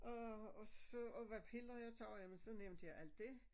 Og og så og hvad piller jeg tager og jamen så nævnte jeg alt det